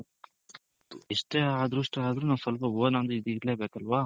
ಎಷ್ಟೇ ಅದೃಷ್ಟ ಆದ್ರೂನು ನಾವ್ ಸ್ವಲ್ಪ own ಅನ್ನೋದು ಇರ್ಲೇಬೇಕಲ್ವಾ